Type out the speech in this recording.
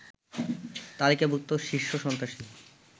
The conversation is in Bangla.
তালিকাভুক্ত শীর্ষ সন্ত্রাসী